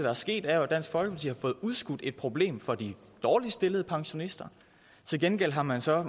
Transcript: er sket er jo at dansk folkeparti har fået udskudt et problem for de dårligst stillede pensionister til gengæld har man så